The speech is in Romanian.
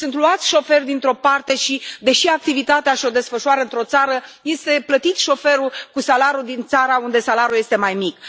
Sunt luați șoferi dintr o parte și, deși activitatea și o desfășoară într o țară, este plătit șoferul cu salariul din țara unde salariul este mai mic.